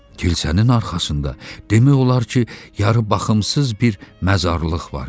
Kilsənin arxasında demək olar ki, yarı baxımsız bir məzarlıq var idi.